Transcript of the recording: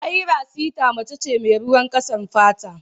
Ayra sita mace ce mai ruwan ƙasar fata.